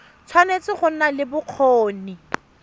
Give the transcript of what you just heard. tshwanetse go nna le bokgoni